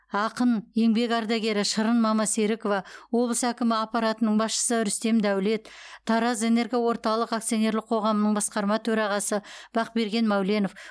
ақын еңбек ардагері шырын мамасерікова облыс әкімі аппаратының басшысы рүстем дәулет таразэнергоорталық акционерлік коғамының басқарма төрағасы бақберген мәуленов